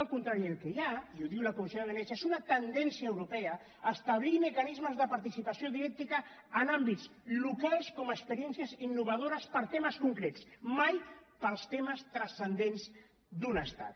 al contrari el que hi ha i ho diu la comissió de venècia és una tendència europea a establir mecanismes de participació directa en àmbits locals com a experiències innovadores per a temes concrets mai per als temes transcendents d’un estat